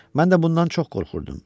Mən də bundan çox qorxurdum.